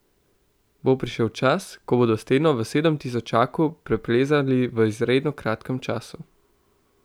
Bo prišel čas, ko bodo steno v sedemtisočaku preplezali v izredno kratkem času.